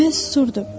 Mən susurdum.